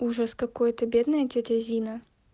ужас какой-то бедная тётя зина